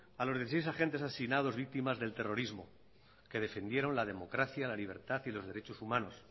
a los dieciséis agentes asignados víctimas del terrorismo que defendieron la democracia la libertad y los derechos humanos